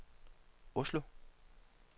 Oslo